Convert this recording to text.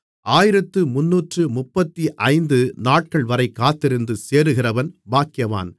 ஆயிரத்து முந்நூற்று முப்பத்தைந்து நாட்கள்வரை காத்திருந்து சேருகிறவன் பாக்கியவான்